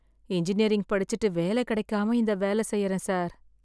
Engineering படிச்சுட்டு வேல கிடைக்காம இந்த வேல செய்யறேன் சார்.